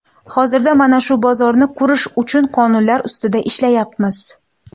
Hozirda mana shu bozorni qurish uchun qonunlar ustida ishlayapmiz.